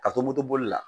Ka to motoboli la